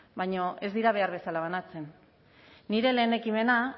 baina ez dira behar bezala banatzen nire lehen ekimena